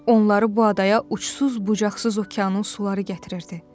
Onları bu adaya uçsuz-bucaqsız okeanın suları gətirirdi.